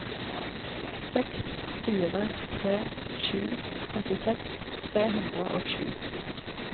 seks fire tre sju trettiseks tre hundre og sju